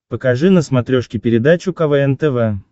покажи на смотрешке передачу квн тв